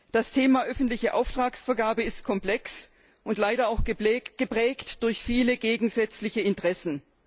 Das Thema öffentliche Auftragsvergabe ist komplex und leider auch geprägt durch viele gegensätzliche Interessen.